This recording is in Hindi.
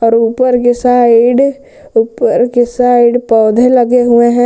और ऊपर की साइड ऊपर की साइड पौधे लगे हुए हैं।